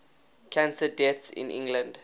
cancer deaths in england